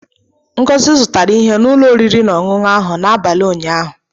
Ngozi zụtara ihe n'ulo oriri na ọṅụṅụ ahụ n'abalị ụnyaahụ.